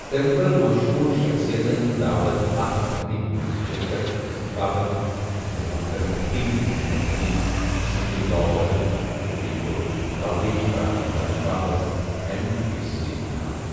تٔمۍ کٔر مشہوٗر شخصیتن داوَت اتھ تقریٖبہِ منٛز شِرکَت گھسنہٕ باپتھ یِتھ کٔنۍ محترم ٹی محمد علی تہٕ سنڈی لاپر، تہٕ بیٚیہِ کوٚرُکھ کوریج فراہم کرنہٕ باپتھ اِیم ٹی وِی یس سۭتۍ مُہادٕ۔